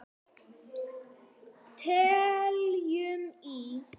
Teljum í!